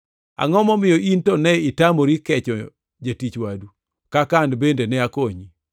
Angʼo momiyo in to ne itamori kecho jatich wadu kaka an bende ne akonyi?’